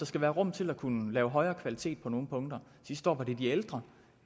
skal være rum til at kunne lave højere kvalitet på nogle punkter sidste år var det de ældre